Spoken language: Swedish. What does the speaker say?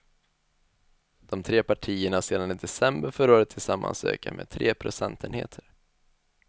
De tre partierna har sedan i december förra året tillsammans ökat med tre procentenheter.